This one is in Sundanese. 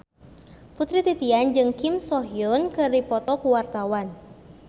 Putri Titian jeung Kim So Hyun keur dipoto ku wartawan